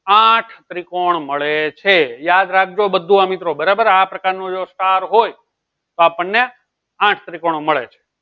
આઠ ત્રિકોણ મળે છે યાદ રાખજો બધું આ મિત્રો બરાબર આ પ્રકાર નું જો સ્ટાર હોય તો આપણ ને આઠ ત્રિકોણ મળે છે